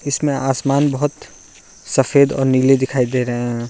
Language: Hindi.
इसमें आसमान बहोत सफेद और नीले दिखाई दे रहे हैं।